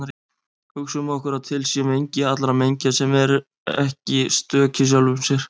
Hugsum okkur að til sé mengi allra mengja sem eru ekki stök í sjálfum sér.